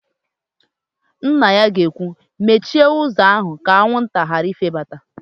Nna ya ga-ekwu, "mechie ụzọ ka anwụnta ghara ifebata"!